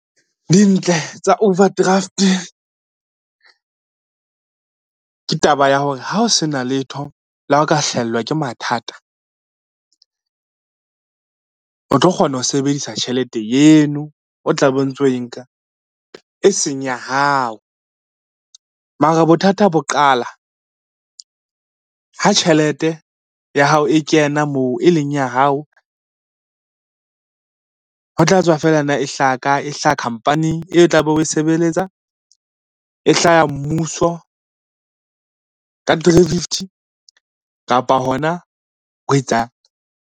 Dintle tsa overdraft, ke taba ya hore ha o sena letho le ha o ka hlahelwa ke mathata, o tlo kgona ho sebedisa tjhelete eno o tla be o ntso o e nka, e seng ya hao. Mara bothata bo qala ha tjhelete ya hao e kena moo e leng ya hao, ho tla tswa fela na e hlaha kae, e hlaha khampaning e tla be o sebeletsa, e hlaha mmuso ka three fifty kapa hona ho etsa.